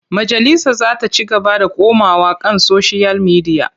Majalisa za ta ci gaba da komawa kan soshiyal midiya.